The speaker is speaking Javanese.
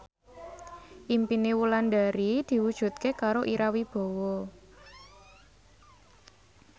impine Wulandari diwujudke karo Ira Wibowo